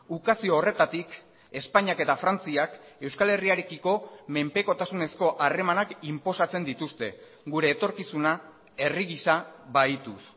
ukazio horretatik espainiak eta frantziak euskal herriarekiko menpekotasunezko harremanak inposatzen dituzte gure etorkizuna herri gisa bahituz